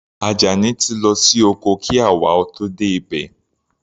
Ajani ti lọ sí oko kí àwa ó tó dé ibẹ̀.